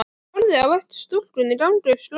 Ég horfi á eftir stúlkunni ganga upp slóðina.